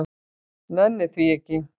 Nenni því ekki.